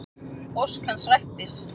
Ósk hans rættist.